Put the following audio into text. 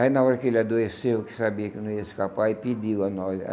Aí, na hora que ele adoeceu, que sabia que não ia escapar, aí pediu a nós.